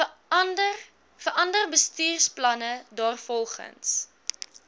verander bestuursplanne daarvolgens